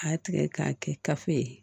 A y'a tigɛ k'a kɛ kafo ye